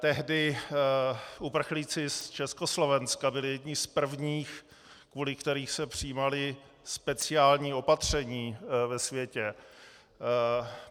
Tehdy uprchlíci z Československa byli jedni z prvních, kvůli kterým se přijímala speciální opatření ve světě.